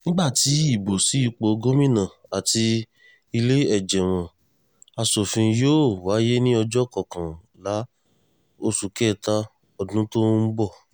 nígbà tí ìbò sí ipò gómìnà àti ìlẹ́ẹ̀jẹ̀mọ́ asòfin yóò wáyé ní ọjọ́ kọkànlá oṣù kẹta ọdún tó ń bọ̀